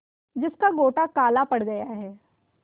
जिसका गोटा काला पड़ गया है